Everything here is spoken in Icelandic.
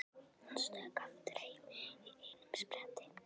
Hann stökk aftur heim í einum spretti.